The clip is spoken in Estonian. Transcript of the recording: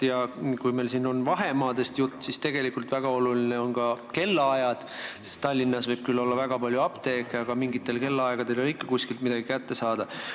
Ja kui meil oli siin juttu vahemaadest, siis tegelikult on väga olulised ka kellaajad, sest Tallinnas võib küll olla väga palju apteeke, aga mingitel kellaaegadel ei ole ikka kuskilt midagi võimalik kätte saada.